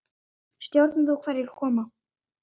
Stjórnar þú þá hverjir koma?